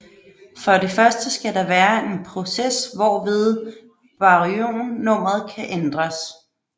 For det første skal der være en proces hvorved baryonnummeret kan ændres